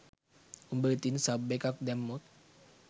උඹ ඉතින් සබ් එකක් දැම්මොත්